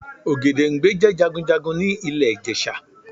Ògèdèngbé jẹ́ Jagunjagun ni ilè Ìjẹ̀ṣà